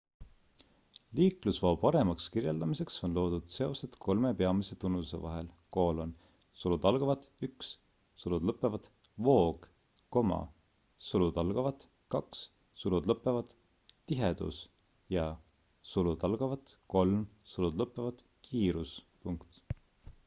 liiklusvoo paremaks kirjeldamiseks on loodud seosed kolme peamise tunnuse vahel: 1 voog 2 tihedus ja 3 kiirus